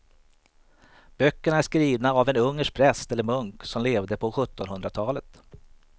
Böckerna är skrivna av en ungersk präst eller munk som levde på sjuttonhundratalet.